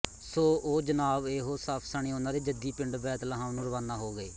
ਸੋ ਉਹ ਜਨਾਬਏਹੋ ਸਫ਼ ਸਣੇ ਉਹਨਾਂ ਦੇ ਜੱਦੀ ਵਤਨ ਬੈਤਲਹਮ ਨੂੰ ਰਵਾਨਾ ਹੋ ਗਏ